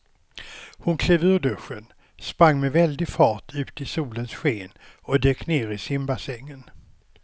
Hon klev ur duschen, sprang med väldig fart ut i solens sken och dök ner i simbassängen.